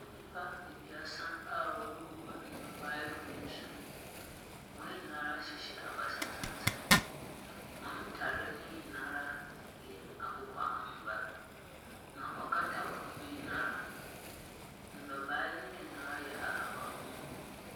Nnipa ebaasa a wɔregugu ndɔbae do nsu. Wɔn nyinaa hyehyɛ abasa tsentsen. Wɔn ntar no nyinaa yɛ akokɔangua. Na ɔkata wɔn ho nyinaa. Ndɔbae no nyinaa yɛ ahabanmon.